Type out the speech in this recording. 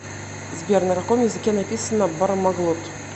сбер на каком языке написано бармаглот